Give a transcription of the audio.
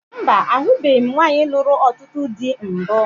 Mba, ahụbeghi m nwaanyị lụrụ ọtụtụ dị mbụ